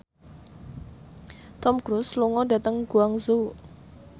Tom Cruise lunga dhateng Guangzhou